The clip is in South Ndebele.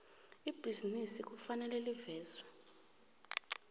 ibhizinisi kufanele livezwe